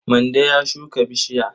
Mande ya shuka bishiya.